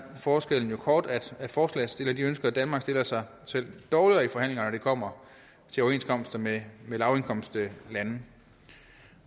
forskellen jo kort at forslagsstillerne ønsker at danmark stiller sig selv dårligere i forhandlingerne når det kommer til overenskomster med lavindkomstlande